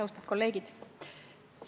Austatud kolleegid!